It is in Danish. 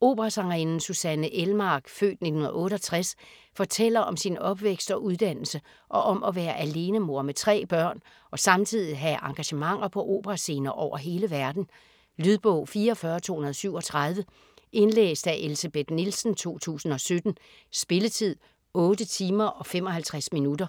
Operasangerinden Susanne Elmark (f. 1968) fortæller om sin opvækst og uddannelse, og om at være alenemor med tre børn og samtidig have engagementer på operascener over hele verden. Lydbog 44237 Indlæst af Elsebeth Nielsen, 2017. Spilletid: 8 timer, 55 minutter.